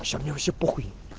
мне вообще похуй